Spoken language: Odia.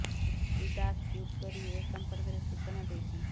ଶ୍ରୀ ଦାଶ ଟ୍ୱିଟ୍ କରି ଏ ସଂପର୍କରେ ସୂଚନା ଦେଇଛନ୍ତି